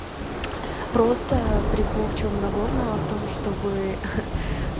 просто а прикол в чем нагорного в том чтобы